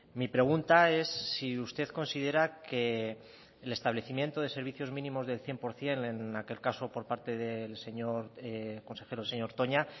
mi pregunta es si usted considera que el establecimiento de servicios mínimos del cien por ciento en aquel caso por parte del señor consejero señor toña